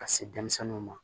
Ka se denmisɛnninw ma